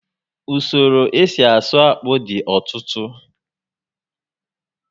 Usoro esi asụ akpụ dị ọtụtụ